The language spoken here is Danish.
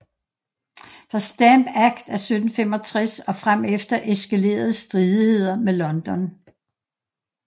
Fra Stamp Act af 1765 og fremefter eskalerede stridigheder med London